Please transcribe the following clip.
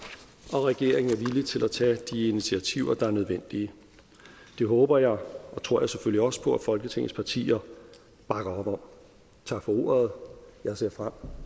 og regeringen er villig til at tage de initiativer der er nødvendige det håber jeg og tror jeg selvfølgelig også på at folketingets partier bakker op om tak for ordet jeg ser frem